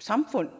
samfund